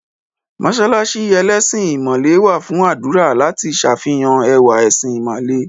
Mọ́ṣáláṣí ẹlẹ́sìn ìmàle wà fún àdúrà láti s'àfihàn ẹwà ẹ̀sìn ìmàle